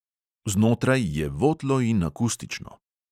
Znotraj je votlo in akustično.